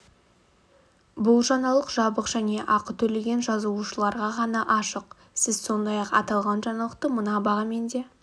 бұл жаңалық жабық және ақы төлеген жазылушыларға ғана ашық сіз сондай-ақ аталған жаңалықты мына бағамен де